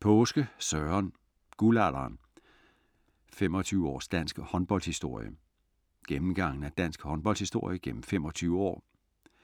Paaske, Søren: Guldalderen: 25 års dansk håndboldhistorie Gennemgang af dansk håndboldshistorie gennem 25 år,